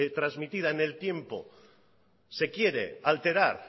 transmitida en el tiempo se quiere alterar